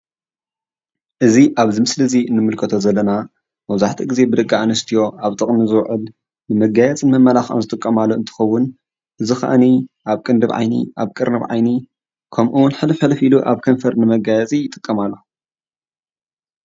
እዚ ኣብዚ ምስሊ ንምልከቶ ዘለና ብመብዛሕቱኡ ግዜ ብደቂ ኣንስትዮ ኣብ ጥቅሚ ዝውዕል ንመጋየፂን መመላክዕን ዝጥቀማሉ እንትኽውን እዚከዓኒ ኣብ ቅንድብን ቅርንብን ዓይኒ ከምኡ'ውን ሕልፍሕልፍ ኢለን ኣብ ከንፈር ንመጋየፂ ይጥቀማሉ።